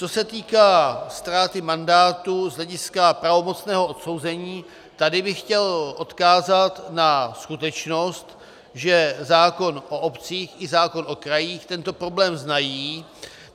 Co se týká ztráty mandátu z hlediska pravomocného odsouzení, tady bych chtěl odkázat na skutečnost, že zákon o obcích i zákon o krajích tento problém znají.